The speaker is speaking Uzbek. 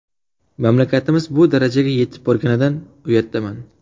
Mamlakatimiz bu darajaga yetib borganidan uyatdaman.